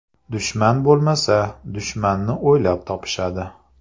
Dushman bo‘lmasa, dushmanni o‘ylab topishadi.